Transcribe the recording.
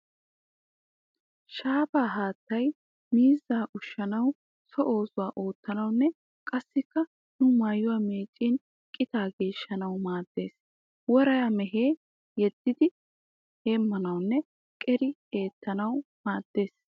Shaafaa haattay miizzaa ushshanawu, so oosuwa oottanawunne qassikka nu maayuwa meeccin qitaa geeshshanawu maaddes. Woray mehiya yeddi heemmanawunne qeeri eettanawu maaddes.